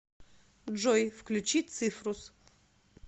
джой включи цифрус